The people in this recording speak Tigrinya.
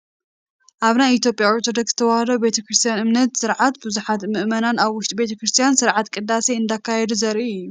ኣብ ናይ ኢ/ያ ኦርቶዶክስ ተዋህዶ ቤት ክርስትያን እምነትን ስርዓትን ብዙሓት ምእመናን ኣብ ውሽጢ ቤተ ክርስትያን ስርዓተ ቅዳሴ እንዳካየዱ ዘርኢ እዩ፡፡